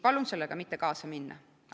Palun sellega mitte kaasa minna!